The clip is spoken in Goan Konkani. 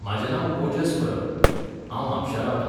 म्हाजें नांव ओजस परब. हांव म्हापश्यां रावतां